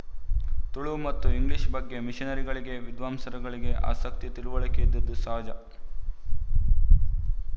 ತುಳು ಮತ್ತು ಇಂಗ್ಲಿಶ ಬಗ್ಗೆ ಮಿಶನರಿಗಳಿಗೆ ವಿದ್ವಾಂಸರಿಗೆ ಆಸಕ್ತಿ ತಿಳುವಳಿಕೆ ಇದ್ದುದು ಸಹಜ